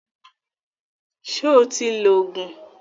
Sọ ti lo Ògùn?